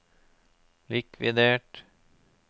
likvidert